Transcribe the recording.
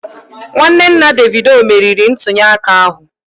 Nwanne nna Davido meriri ntunyeaka ahụ